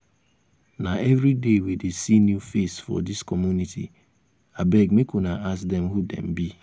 na everyday we dey see new face for dis community abeg make una ask dem who dem be.